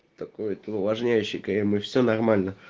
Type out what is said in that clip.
такой увлажняющий крем и все нормально